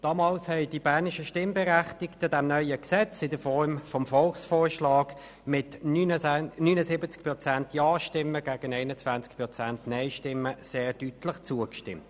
Damals haben die Berner Stimmberechtigten dieses neue Gesetz in Form des Volksvorschlags mit 79 Prozent Ja-Stimmen gegen 21 Prozent Nein-Stimmen sehr deutlich angenommen.